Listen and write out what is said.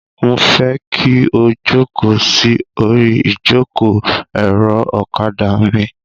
Mo fẹ́ kí o jókòó sí orí ìjókòó-èrò ọ̀kadà mi.